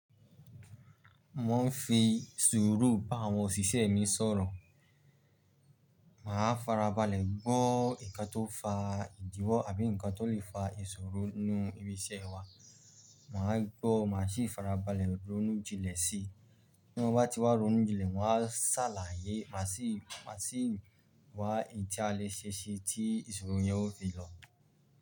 Mo ń fi sùúrù bá àwọn òṣìṣẹ́ mi sọ̀rọ̀. Màá farabalẹ̀ gbọ́ nǹkan tó fa ìdíwọ́ àbí ǹkan tó lè fa ìṣòro nú ibi iṣẹ́ wa. Màá gbọ́ má sì farabalẹ̀ ronú jinlẹ̀ sí i. Bí mo bá ti wá ronú jinlẹ̀, ma wá ṣàlàyé má sì wá un ti a lè ṣe é ṣi tí ìṣòro yẹn ó fi lọ.